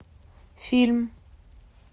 фильм